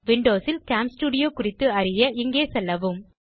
Windows ல் game studio குறித்து அறிய இங்கே செல்லவும்